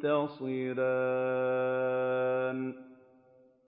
تَنتَصِرَانِ